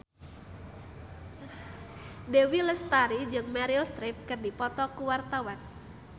Dewi Lestari jeung Meryl Streep keur dipoto ku wartawan